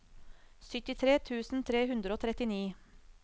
syttitre tusen tre hundre og trettini